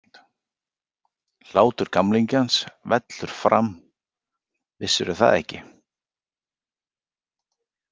Hlátur gamlingjans vellur fram Vissirðu það ekki?